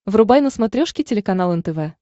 врубай на смотрешке телеканал нтв